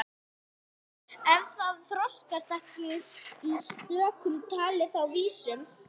Ef það þroskaðist ekki í stökkum talaði það í vísum.